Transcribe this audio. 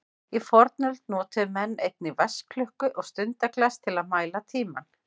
Í fornöld notuðu menn einnig vatnsklukku og stundaglas til að mæla tímann.